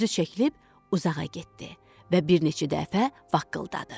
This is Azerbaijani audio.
Özü çəkilib uzağa getdi və bir neçə dəfə vaqqladadı.